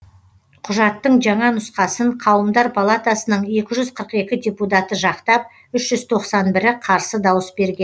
құжаттың жаңа нұсқасын қауымдар палатасының екі жүз қырық екі депутаты жақтап үш жүз тоқсан бірі қарсы дауыс берген